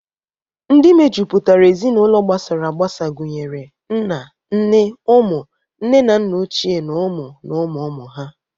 Ndị mejupụtara Ezinaụlọ gbasara agbasa gunyere nna, nne, ụmụ, nne na nna ochie na ụmụ na ụmụ ụmụ ha.